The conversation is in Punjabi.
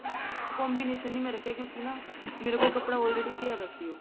combination ਨੀ ਮੈਂ ਰੱਖਿਆ ਕਿਉਂਕਿ ਮੇਰੇ ਕੋਲ ਕੱਪੜਾ already ਪਿਆ ਵੀ ਸੀ ਉਹ